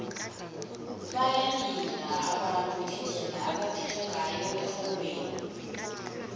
bayalila abantu ngendlela ebebaphethwe ngayo erholweni